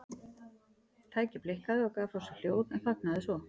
Tækið blikkaði og gaf frá sér hljóð en þagnaði svo.